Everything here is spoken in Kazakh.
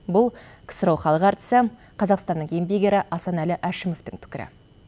бұл ксро халық артисі қазақстанның еңбек ері асанәлі әшімовтың пікірі